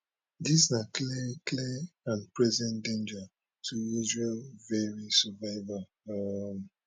dis na clear clear and present danger to israel veri survival um